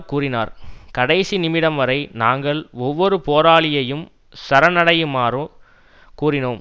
கூறினார் கடைசி நிமிடம் வரை நாங்கள் ஒவ்வொரு போராளியையும் சரணடையுமாறு கூறினோம்